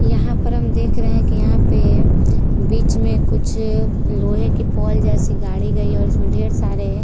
यहाँ पर हम देख रहे है की यहाँ पे बीच में कुछ लोहे की पोल जैसे गाडी गयी है और इसमें ढेर सारे --